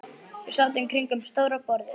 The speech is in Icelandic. Við sátum kringum stóra borðið.